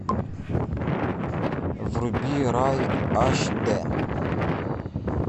вруби рай аш дэ